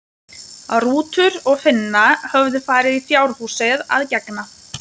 Rútur og Finna höfðu farið í fjárhúsið að gegna.